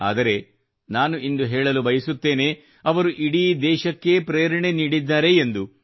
ಆದರೆ ನಾನು ಇಂದು ಹೇಳಲು ಬಯಸುತ್ತೇನೆ ಇವರು ಇಡೀ ದೇಶಕ್ಕೇ ಪ್ರೇರಣೆ ನೀಡಿದ್ದಾರೆ ಎಂದು